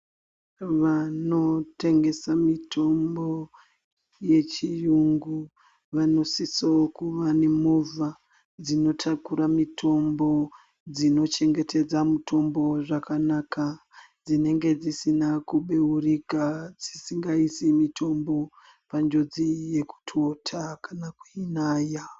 Vanotengesa mitombo yechiyungu vanosise kuva nemovha dzinotakure mitombo dzinochengetedze mitombo zvakanaka dzinenge dzisina kubeurika dzisingaisi mitombo panjodzi yekutota kana kweinaya.